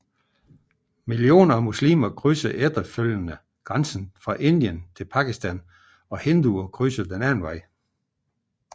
Millioner af muslimer krydsede efterfølgende grænsen fra Indien til Pakistan og hinduer krydsede den anden vej